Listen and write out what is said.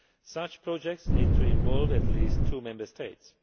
Such projects need to involve at least two Member States.